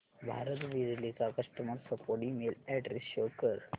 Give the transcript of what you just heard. भारत बिजली चा customer support email address show कर